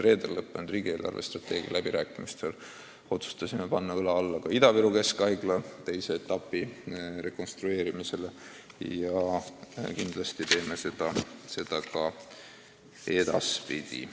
Reedel lõppenud riigi eelarvestrateegia läbirääkimistel otsustasime panna õla alla ka Ida-Viru Keskhaigla teise etapi rekonstrueerimisele ja kindlasti teeme seda ka edaspidi.